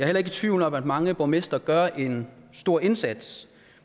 heller ikke i tvivl om at mange borgmestre gør en stor indsats